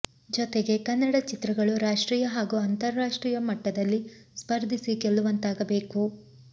ಜೊತೆಗೆ ಕನ್ನಡ ಚಿತ್ರಗಳು ರಾಷ್ಟ್ರೀಯ ಹಾಗೂ ಅಂತಾರಾಷ್ಟ್ರೀಯ ಮಟ್ಟದಲ್ಲಿ ಸ್ಪರ್ಧಿಸಿ ಗೆಲ್ಲುವಂತಾಗಬೇಕು